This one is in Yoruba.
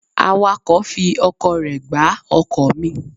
Awàkọ̀ fi ọkọ̀ rẹ gbá ọkọ̀ mi.